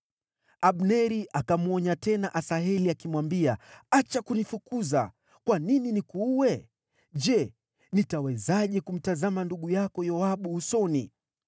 Abneri akamwonya tena Asaheli akimwambia, “Acha kunifukuza! Kwa nini nikuue? Je, nitawezaje kumtazama ndugu yako Yoabu usoni?”